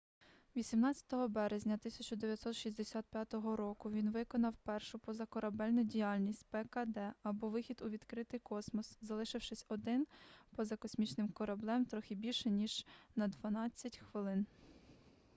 18 березня 1965 року він виконав першу позакорабельну діяльність пкд або вихід у відкритий космос залишившись один поза космічним кораблем трохи більше ніж на дванадцять хвилин